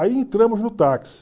Aí entramos no táxi.